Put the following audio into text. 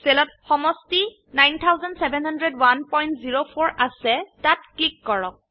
cell ত সমষ্টি ৯৭০১০৪ আছে তাত ক্লিক কৰক